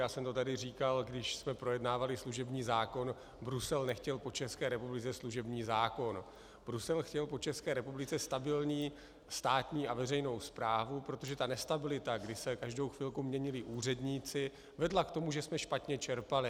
Já jsem to tady říkal, když jsme projednávali služební zákon, Brusel nechtěl po České republice služební zákon, Brusel chtěl po České republice stabilní státní a veřejnou správu, protože ta nestabilita, kdy se každou chvilku měnili úředníci, vedla k tomu, že jsme špatně čerpali.